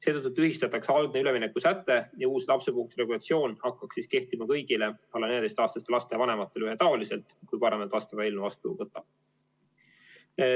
Seetõttu tühistatakse algne üleminekusäte ja uus lapsepuhkuse regulatsioon hakkaks kehtima kõigile alla 14-aastaste laste vanematele ühetaoliselt, kui parlament vastava eelnõu vastu võtab.